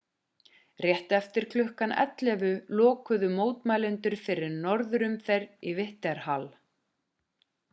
rétt eftir klukkan 11:00 lokuðu mótmælendur fyrir norðurumferð í whitehall